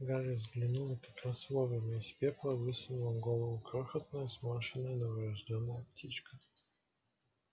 гарри взглянул и как раз вовремя из пепла высунула голову крохотная сморщенная новорождённая птичка